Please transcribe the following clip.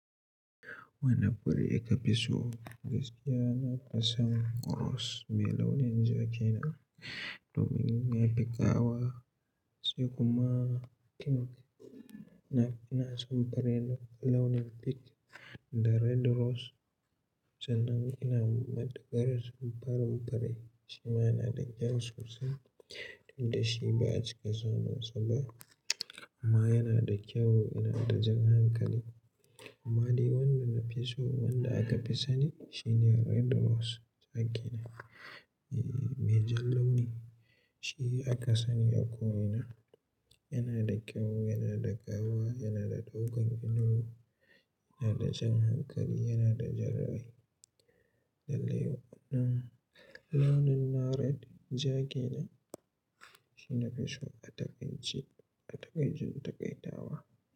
Wane fure ka fi so? Gaskiya na fi son rose mai launin ja kenan, domin yana da ƙawa, sai kuma pink, na fi, ina son fari, launin pink da red rose. Sanan ina maɗigar sam farin fure, shi ma yana da kyau sosai, inda shi ba'a cika samunsa ba amma yana da kyau, yana da jan hankali. Amma dai wanda na fi so wanda aka fi sani, shine red rose. Ja kenan, mai jan launi, shi aka sani a ko ina. Yana da kyau, yana da ƙawa, yana da ɗaukan ido, yana da jan hankali, yana da jan rai. Lallai, launin na red, ja kenan, shi nafi so a taƙaice, a taƙaican-taƙaitawa.